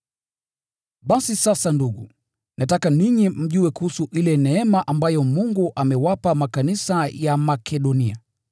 Basi sasa ndugu, nataka ninyi mjue kuhusu ile neema ambayo Mungu amewapa makanisa ya Makedonia.